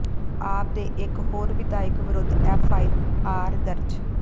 ਆਪ ਦੇ ਇੱਕ ਹੋਰ ਵਿਧਾਇਕ ਵਿਰੁੱਧ ਐੱਫ਼ ਆਈ ਆਰ ਦਰਜ